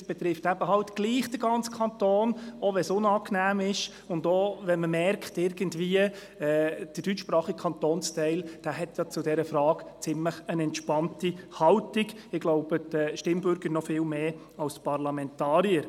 Sie betrifft eben trotzdem den gesamten Kanton, selbst wenn es unangenehm ist, und selbst wenn man merkt, dass der deutschsprachige Kantonsteil zu dieser Frage eine ziemlich entspannte Haltung hat – ich glaube, die Stimmbürger noch viel mehr als die Parlamentarier.